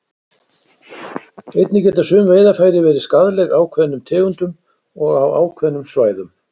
Einnig geta sum veiðarfæri verið skaðleg ákveðnum tegundum og á ákveðnum svæðum.